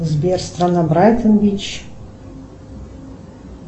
сбер страна брайтон бич